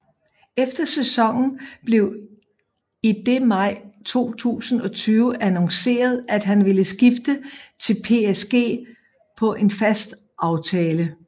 Efter sæsonen blev i det maj 2020 annonceret at han ville skifte til PSG på en fast aftale